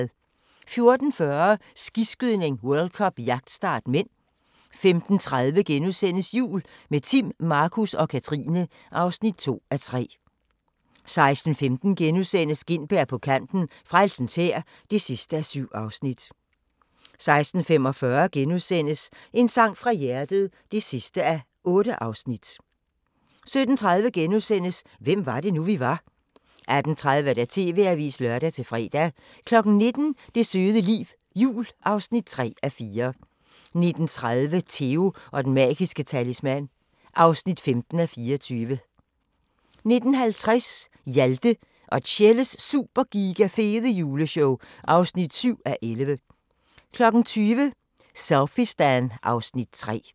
14:40: Skiskydning: World Cup - jagtstart (m) 15:30: Jul – med Timm, Markus og Katrine (2:3)* 16:15: Gintberg på kanten – Frelsens Hær (7:7)* 16:45: En sang fra hjertet (8:8)* 17:30: Hvem var det nu, vi var? * 18:30: TV-avisen (lør-fre) 19:00: Det søde liv – jul (3:4) 19:30: Theo & den magiske talisman (15:24) 19:50: Hjalte og Tjelles Super Giga Fede Juleshow (7:11) 20:00: Selfiestan (Afs. 3)